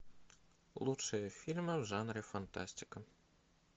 лучшие фильмы в жанре фантастика